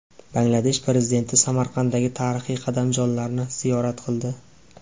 Bangladesh prezidenti Samarqanddagi tarixiy qadamjolarni ziyorat qildi .